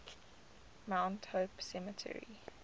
mount hope cemetery